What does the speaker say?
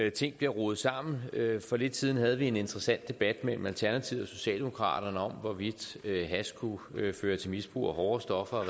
at ting bliver rodet sammen for lidt siden havde vi en interessant debat mellem alternativet og socialdemokraterne om hvorvidt hash kunne føre til misbrug af hårdere stoffer og